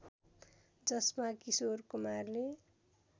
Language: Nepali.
जसमा किशोर कुमारले